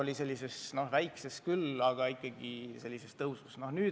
Oli selline väike tõus.